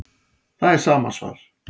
Það er sama svar